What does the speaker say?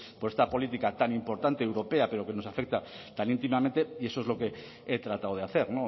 por esta política tan importante europea pero que nos afecta tan íntimamente y eso es lo que he tratado de hacer